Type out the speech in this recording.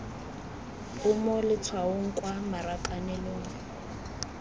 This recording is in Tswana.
o mo letshwaong kwa marakanelong